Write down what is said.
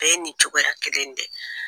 bɛɛ ye nin cogoya kelen in de ye.